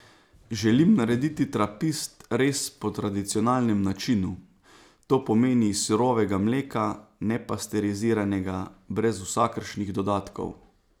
Želim narediti trapist res po tradicionalnem načinu, to pomeni iz surovega mleka, nepasteriziranega, brez vsakršnih dodatkov.